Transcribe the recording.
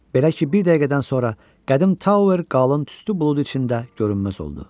Belə ki, bir dəqiqədən sonra qədim Tower qalın tüstü bulud içində görünməz oldu.